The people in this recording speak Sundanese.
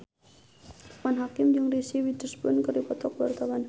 Loekman Hakim jeung Reese Witherspoon keur dipoto ku wartawan